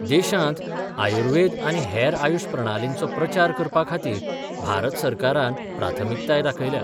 देशांत आयुर्वेद आनी हेर आयुष प्रणालींचो प्रचार करपा खातीर भारत सरकारान प्राथमिकताय दाखयल्या.